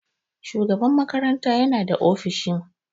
Shugaban makaranta yana da ofishin.